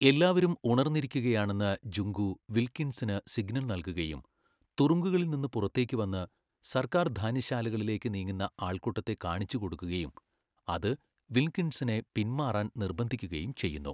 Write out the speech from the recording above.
എല്ലാവരും ഉണർന്നിരിക്കുകയാണെന്ന് ജുങ്കു വിൽകിൻസണിന് സിഗ്നൽ നൽകുകയും തുറുങ്കുകളിൽനിന്ന് പുറത്തേക്കുവന്ന് സർക്കാർ ധാന്യശാലകളിലേക്ക് നീങ്ങുന്ന ആൾക്കൂട്ടത്തെ കാണിച്ചുകൊടുക്കുകയും അത് വിൽകിൻസണിനെ പിന്മാറാൻ നിർബന്ധിക്കുകയും ചെയ്യുന്നു.